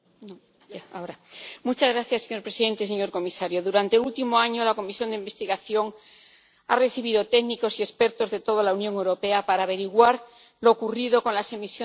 Señor presidente, señor comisario, durante el último año, la comisión de investigación ha recibido a técnicos y expertos de toda la Unión Europea para averiguar lo ocurrido con las emisiones contaminantes de los vehículos.